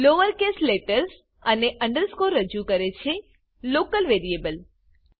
lower case letters અને underscore રજૂ કરે છે લોકલ વેરિયેબલ